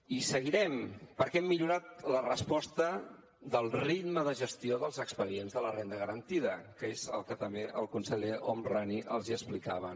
i seguirem perquè hem millorat la resposta del ritme de gestió dels expedients de la renda garantida que és el que també el conseller homrani els explicava